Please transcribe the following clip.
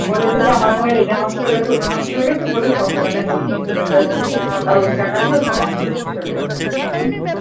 বলেছি যে আমার ফোনের এটা নষ্ট হয়ে গেছে, ওটা নষ্ট হয়ে গেছে বলে ছশো টাকা নিয়ে নিয়েছে ওদের কাছ থেকে। আর ওই টাকা দিয়ে ও shopping করে চলে এসেছে ।